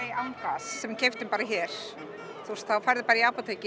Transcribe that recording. án gass sem við keyptum bara hér þá ferðu bara í apótekið